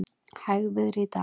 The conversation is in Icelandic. Hægviðri í dag